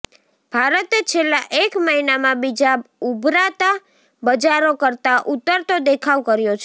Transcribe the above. ભારતે છેલ્લા એક મહિનામાં બીજાં ઊભરતાં બજારો કરતાં ઊતરતો દેખાવ કર્યો છે